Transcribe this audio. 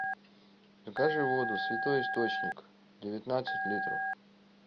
закажи воду святой источник девятнадцать литров